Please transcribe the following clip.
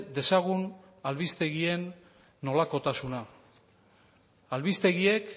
dezagun albistegien nolakotasuna albistegiek